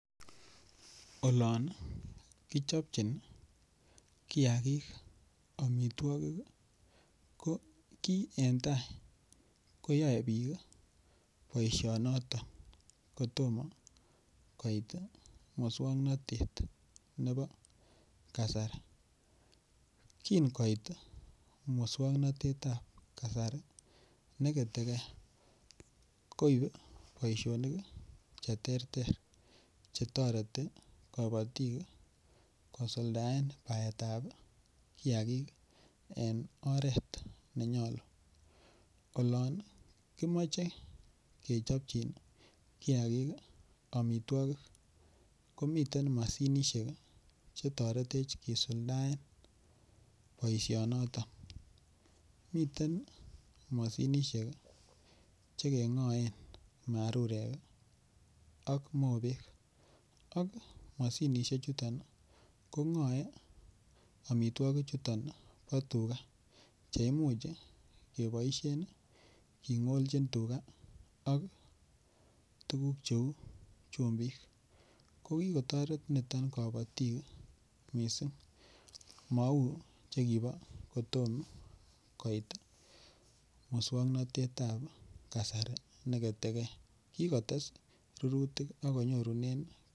Olon kichopchin kiagik amitwogik ko ki en tai koyoe bik boisionoto kotom koit moswoknatetab kasari kotom koit moswoknatet ab kasari ne ketegei koib boisionik Che terter Che toreti kabatik kosuldaen baetab kiagik en oret ne nyolu olon kimoche kechopchin kiagik amitwogik komiten mashinisiek Che toretech kisuldaen boisionoto miten mashinisiek Che kengoen marurek ak mobek ak mashinisiek chuto kongoe amitwogichuto bo tuga Che Imuch keboisien kingolchin tuga ak tuguk Cheu chumbik ko kotoret niton kabatik mising mau chekibo kotom koit moswoknatetab kasari ne ketegei ki kotes rurutik ak konyorunen kelchin